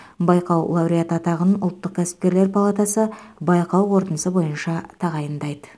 байқау лауреаты атағын ұлттық кәсіпкерлер палатасы байқау қорытындысы бойынша тағайындайды